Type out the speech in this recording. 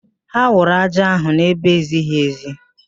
Ha wụrụ ájá ahụ n'ebe ezighi ezi